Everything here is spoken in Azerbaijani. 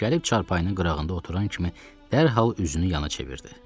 Gəlib çarpayının qırağında oturan kimi dərhal üzünü yana çevirdi.